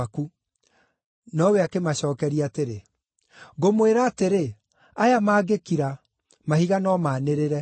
Nowe akĩmacookeria atĩrĩ, “Ngũmwĩra atĩrĩ, aya maangĩkira, mahiga no maanĩrĩre.”